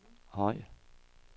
høj